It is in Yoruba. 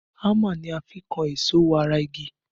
Hámà ni a fi n kan èso wọ ara igi